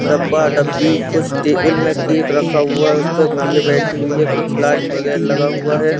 डब्बा डब्बी कुछ टेबिल में केक रखा हुआ है उसपे गुड़िया बैठी हुई है कुछ लाइट बगैर लगा हुआ है।